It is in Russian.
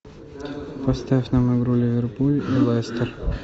поставь нам игру ливерпуль и лестер